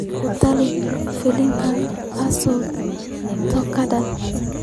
ku tali filimka Pascal Tokodi